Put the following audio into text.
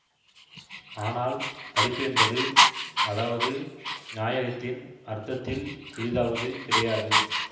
ஆனால் படிப்பு என்பது அதாவது நாயகத்தின் அர்த்தத்தில் சிறிதாவது கிடையாது